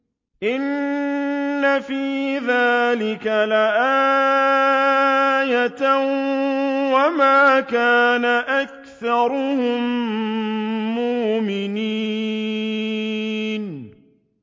إِنَّ فِي ذَٰلِكَ لَآيَةً ۖ وَمَا كَانَ أَكْثَرُهُم مُّؤْمِنِينَ